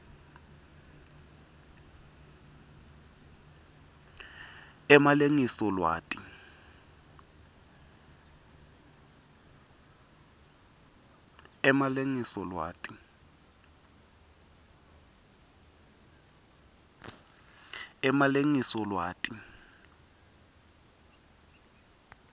emalengiso lwati